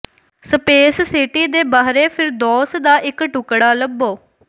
space city ਦੇ ਬਾਹਰੇ ਫਿਰਦੌਸ ਦਾ ਇੱਕ ਟੁਕੜਾ ਲੱਭੋ